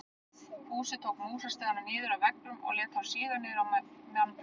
Fúsi tók músastigana niður af veggjunum og lét þá síga niður yfir mannfjöldann.